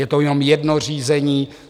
Je to jenom jedno řízení.